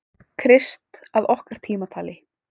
Krist að okkar tímatali.